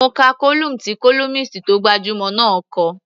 Mo ka column tí columnist tó gbajúmọ̀ náà kọ.